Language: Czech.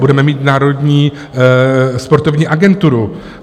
Budeme mít Národní sportovní agenturu.